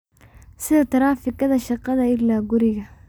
sida taraafikada shaqada ilaa guriga